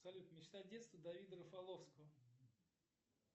салют мечта детства давида рафаловского